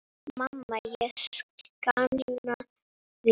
Mamma ég sakna þín.